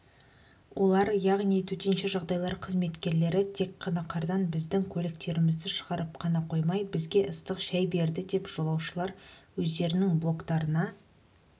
олар яғни төтенше жағдайлар қызметкерлері тек қана қардан біздің көліктерімізді шығарып қана қоймай бізге ыстық шай берді деп жолаушылар өздерінің блогтарына